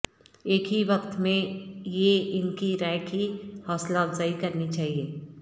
ایک ہی وقت میں یہ ان کی رائے کی حوصلہ افزائی کرنی چاہیے